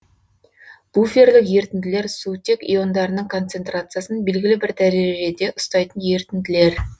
буферлік ерітінділер сутек иондарының концентрациясын белгілі бір дәрежеде ұстайтын ерітінділер